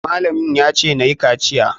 Malamin ya ce nayi kaciya.